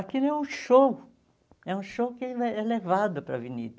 Aquilo é um show, é um show que é é levado para a avenida.